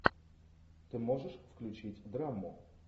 ты можешь включить драму